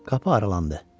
Qapı aralandı.